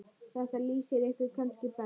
Þetta lýsir ykkur kannski best.